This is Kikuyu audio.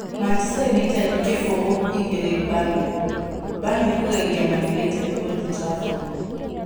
Manchester united kĩbũgũ - igĩrĩ Burnley: Burnley kũgegia Man-U Old Trafford